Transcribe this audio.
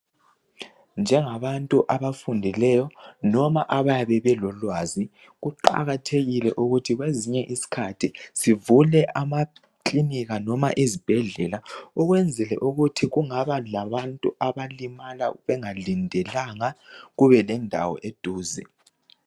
Njengabantu abafundileyo loba abayabe belolwazi kuqakathekile ukuthi sivele amaklinika noba izibhedlela ukwenzela ukuthi kungaba labantu abalimala bengalindelanga kube lendawo eduze